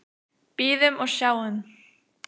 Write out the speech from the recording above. Bíðum og sjáum.